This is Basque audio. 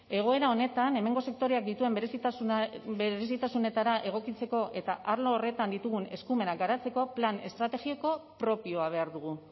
egoera honetan hemengo sektoreak dituen berezitasunetara egokitzeko eta arlo horretan ditugun eskumenak garatzeko plan estrategiko propioa behar dugu